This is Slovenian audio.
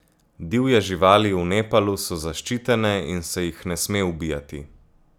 Divje živali v Nepalu so zaščitene in se jih ne sme ubijati.